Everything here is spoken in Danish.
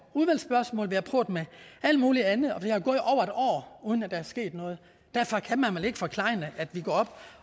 udvalgsspørgsmål vi har prøvet med alt muligt andet år uden at der er sket noget derfor kan man vel ikke forklejne at vi går op